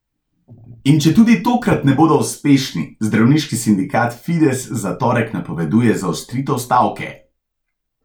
In če tudi tokrat ne bodo uspešni, zdravniški sindikat Fides za torek napoveduje zaostritev stavke.